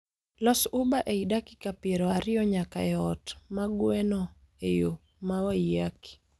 Los uber ei dakika piero ariyo nyaka e ot ma gweno e yo ma waiyaki